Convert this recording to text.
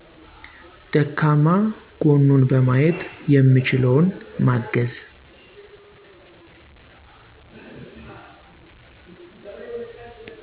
ደካማ ጎኑን በማየት የምችለውን ማገዝ